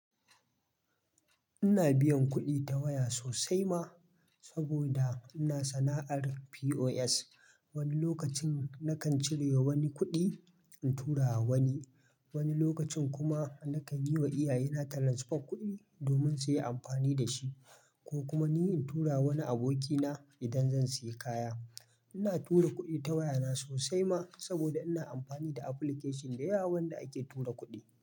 Ina biyan kuɗi ta waya sosai ma, saboda ina sana'ar POS. Wani lokacin nakan cire wani kuɗi in tura wa wani, wani lokacin kuma nakan yi wa iyaye na transfa kuɗi domin su yi amfani da shi, ko kuma ni in tura wani abokina idan zan sayi kaya. Ina tura kuɗi ta waya na sosai ma, saboda ina amfani da application da yawa wanda ake tura kuɗi.